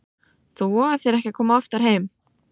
Þú vogar þér ekki að koma oftar heim!